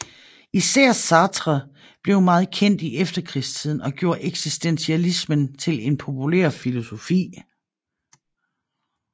Især Sartre blev meget kendt i efterkrigstiden og gjorde eksistentialismen til en populær filosofi